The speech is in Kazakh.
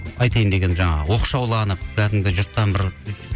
айтайын дегенім жаңағы оқшауланым кәдімгі жұрттан бір